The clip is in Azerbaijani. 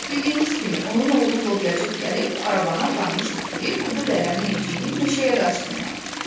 Bildiyiniz kimi, onun oğlu lobyacıq gəlib arabanı aparmışdı ki, kudur lələnin nevciyini meşəyə daşısınlar.